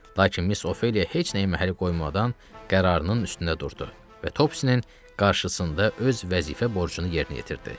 Lakin Miss Ofeliya heç nəyə məhəl qoymadan qərarının üstündə durdu və Topsisinin qarşısında öz vəzifə borcunu yerinə yetirdi.